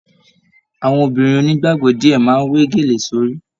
Àwọn obìnrin onígbàgbọ diẹ máa n we gélé sórí.